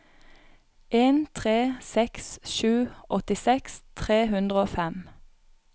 en tre seks sju åttiseks tre hundre og fem